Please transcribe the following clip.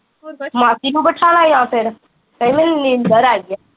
ਮਾਸੀ ਨੂੰ ਬਿਠਾ ਲਾ ਜਾਂ ਫਿਰ, ਕਹਿ ਮੈਨੂੰ ਨੀਂਦਰ ਆਈ ਆ